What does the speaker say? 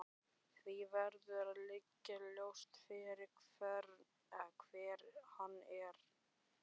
Því verður að liggja ljóst fyrir hver hann er.